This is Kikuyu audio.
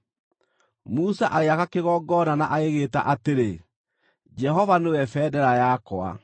Musa agĩaka kĩgongona na agĩgĩĩta atĩrĩ “Jehova Nĩwe Bendera yakwa.”